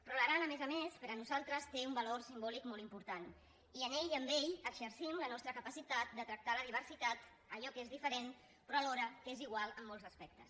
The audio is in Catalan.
però l’aran a més a més per a nosaltres té un valor simbòlic molt important i en ell i amb ell exercim la nostra capacitat de tractar la diversitat allò que és diferent però alhora que és igual en molts aspectes